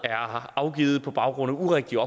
afgivet på baggrund af urigtige